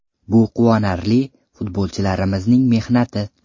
Bu quvonarli, futbolchilarimizning mehnati.